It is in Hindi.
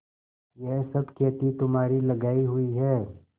यह सब खेती तुम्हारी लगायी हुई है